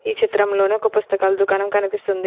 ఈ చిత్రంలోని ఒక పుస్తకాలు దుకాణం కనిపిస్తుంది.